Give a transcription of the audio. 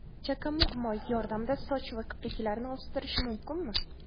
Chakamug‘ moyi yordamida soch va kipriklarni o‘stirish mumkinmi?.